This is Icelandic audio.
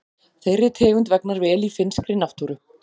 Þeirri tegund vegnar vel í finnskri náttúru.